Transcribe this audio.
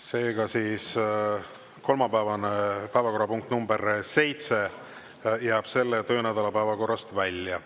Seega siis kolmapäevane päevakorrapunkt number seitse jääb selle töönädala päevakorrast välja.